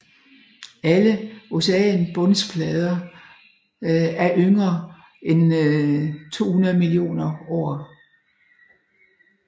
Alle oceanbundsplader er yngre end 200 millioner år